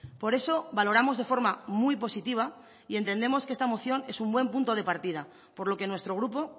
por eso valoramos de forma muy positiva y entendemos que esta moción es un buen punto de partida por lo que nuestro grupo